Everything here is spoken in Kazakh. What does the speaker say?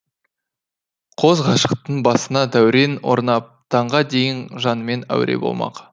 қос ғашықтың басына дәурен орнап таңға дейін жанымен әуре болмақ